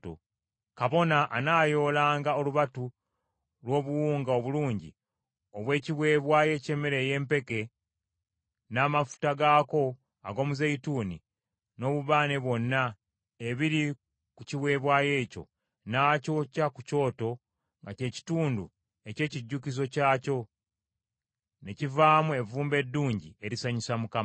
Kabona anaayoolanga olubatu lw’obuwunga obulungi obw’ekiweebwayo eky’emmere y’empeke n’amafuta gaako ag’omuzeeyituuni n’obubaane bwonna, ebiri ku kiweebwayo ekyo, n’akyokya ku kyoto nga kye kitundu eky’ekijjukizo kyakyo, ne kivaamu evvumbe eddungi erisanyusa Mukama .